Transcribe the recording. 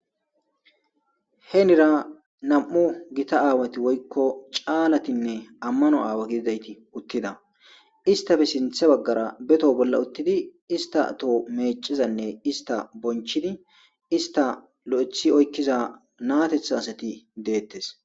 henira nam'u gita aawati woykko caalatinne ammano aawa gididayti uttida istafe sinthe baggara beto bolla uttidi ista to meecizanne ista bonchidi ista lo'ethi oykkiza naateth asati deettes